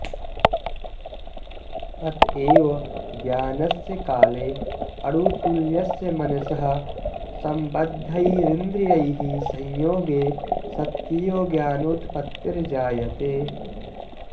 अतएव ज्ञानस्य काले अणुतुल्यस्य मनसः सम्बद्धैरिन्द्रियैः संयोगे सत्येव ज्ञानोत्पत्तिर्जायते